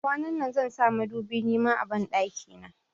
Kwanan nan zansa madubi nima a banɗaki na.